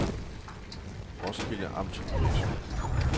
Roskilde Amtgymnasium